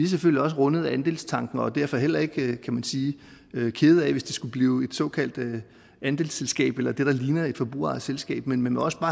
selvfølgelig også rundet af andelstanken og er derfor heller ikke kan man sige kede af hvis det skulle blive et såkaldt andelsselskab eller det der ligner et forbrugerejet selskab men man må også